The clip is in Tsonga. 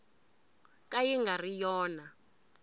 ka yi nga ri yona